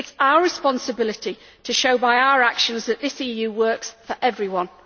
It is our responsibility to show by our actions that this EU works for everyone.